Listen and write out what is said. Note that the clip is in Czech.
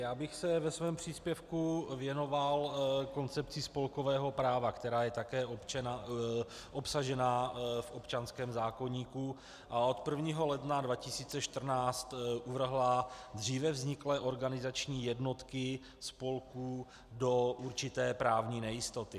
Já bych se ve svém příspěvku věnoval koncepci spolkového práva, která je také obsažena v občanském zákoníku a od 1. ledna 2014 uvrhla dříve vzniklé organizační jednotky spolků do určité právní nejistoty.